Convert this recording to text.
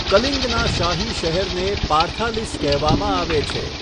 કલિંગના શાહી શહેરને પાર્થાલિસ કહેવામાં આવે છે.